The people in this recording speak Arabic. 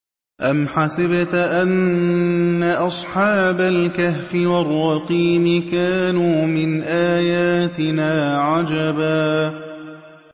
أَمْ حَسِبْتَ أَنَّ أَصْحَابَ الْكَهْفِ وَالرَّقِيمِ كَانُوا مِنْ آيَاتِنَا عَجَبًا